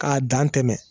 K'a dan tɛmɛ